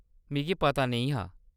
मिगी पता नेईं हा।